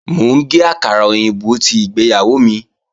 Mò ń gé àkàrà òyìnbó tí ìgbéyàwó mi